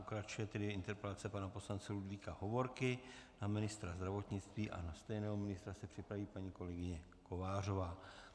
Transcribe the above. Pokračuje tedy interpelace pana poslance Ludvíka Hovorky na ministra zdravotnictví a na stejného ministra se připraví paní kolegyně Kovářová.